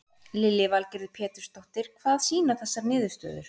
Lillý Valgerður Pétursdóttir: Hvað sýna þessar niðurstöður?